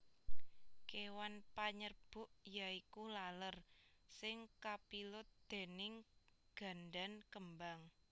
Kéwan panyerbuk ya iku laler sing kapilut déning gandan kembang